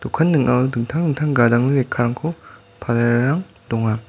ning·ao dingtang dingtang gadangni lekkarangko palarang donga.